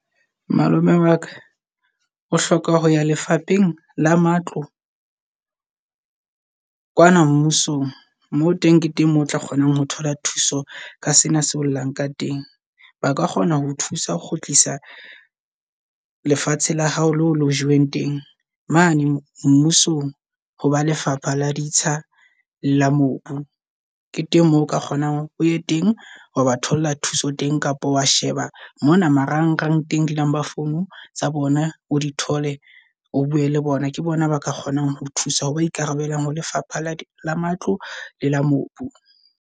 Malome waka o hloka ho ya lefapheng la matlo kwana mmusong. Moo teng ke teng moo o tla kgonang ho thola thuso ka sena se o llang ka teng. Ba ka kgona ho thusa ho kgutlisa lefatshe la hao le ho le joweng teng. Mane mmusong ho ba lefapha la ditsha la mobu ke teng moo o ka kgonang o ye teng ho ba thola thuso teng. Kapa wa sheba mona marang rang teng di number phone tsa bona di thole, o bue le bona. Ke bona baka kgonang ho thusa ho ba ikarabelang ho lefapha la matlo le la mobu.